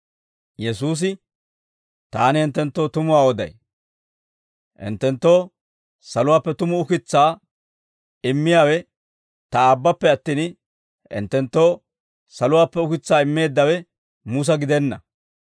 Yesuusi, «Taani hinttenttoo tumuwaa oday; hinttenttoo saluwaappe tumu ukitsaa immiyaawe ta Aabbappe attin, hinttenttoo saluwaappe ukitsaa immeeddawe Musa gidenna.